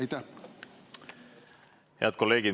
Head kolleegid!